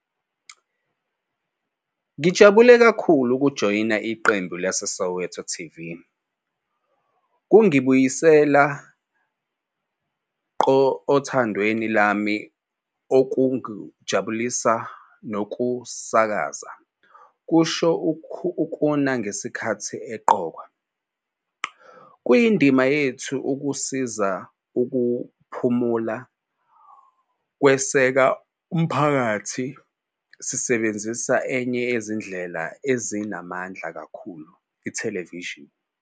"Ngijabule kakhulu ukujoyina iqembu laseSoweto TV, kungibuyisela ngqo othandweni lwami okungukuzijabulisa nokusakaza," kusho uNkuna ngesikhathi eqokwa. "Kuyindima yethu ukusiza ukukhuphula nokweseka umphakathi sisebenzisa enye yezindlela ezinamandla kakhulu - ithelevishini."